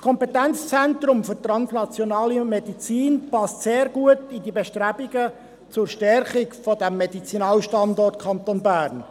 Das Kompetenzzentrum für translationale Medizin passt sehr gut zu den Bestrebungen zur Stärkung des Medizinalstandorts Kanton Bern.